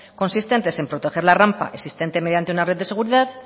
consistentes en proteger la rampa existente mediante una red de seguridad